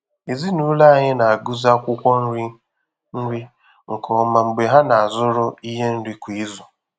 Ezinụlọ anyị na-agụzi akwụkwọ nri nri nke ọma mgbe ha na-azụrụ ihe nri kwa izu.